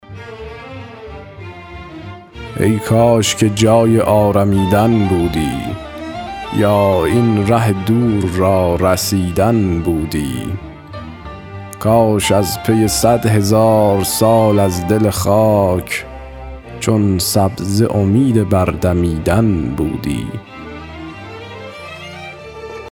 ای کاش که جای آرمیدن بودی یا این ره دور را رسیدن بودی کاش از پی صد هزار سال از دل خاک چون سبزه امید بر دمیدن بودی